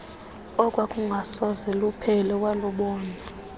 okwakungasoze kuphele walubona